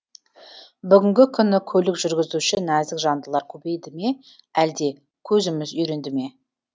бүгінгі күні көлік жүргізуші нәзік жандылар көбейді ме әлде көзіміз үйренді ме